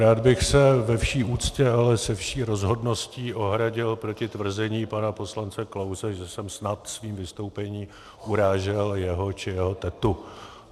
Rád bych se ve vší úctě, ale se vší rozhodností ohradil proti tvrzení pana poslance Klause, že jsem snad svým vystoupením urážel jeho či jeho tetu.